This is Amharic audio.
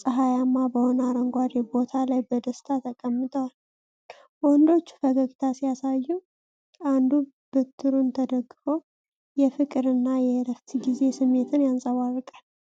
ፀሐያማ በሆነ አረንጓዴ ቦታ ላይ በደስታ ተቀምጠዋል። ወንዶቹ ፈገግታ ሲያሳዩ፣ አንዱ በትሩን ተደግፎ የፍቅር እና የእረፍት ጊዜ ስሜት ያንጸባርቃል።